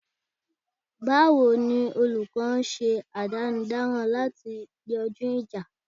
Báwo ni olúkó ń ṣe àdánidáran lati yanjú ìjà?